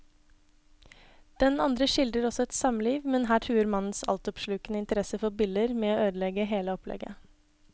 Den andre skildrer også et samliv, men her truer mannens altoppslukende interesse for biller med å ødelegge hele opplegget.